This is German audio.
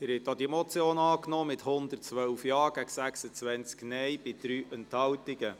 Sie haben auch diese Motion angenommen mit 112 Ja- gegen 26 Nein-Stimmen bei 3 Enthaltungen.